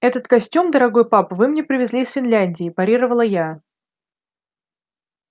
этот костюм дорогой папа вы мне привезли из финляндии парировала я